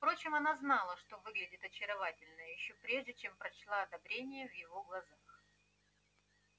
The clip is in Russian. впрочем она знала что выглядит очаровательно ещё прежде чем прочла одобрение в его глазах